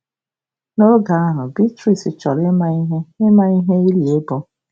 Noge ahụ, Beatrice chọrọ ịma ihe ịma ihe ili bụ.